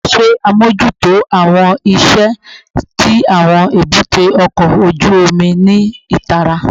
Ṣe amojuto awọn iṣẹ ti awọn ebute oko oju omi ni itara